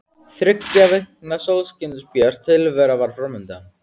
Þriggja vikna sólskinsbjört tilvera var fram undan.